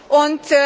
und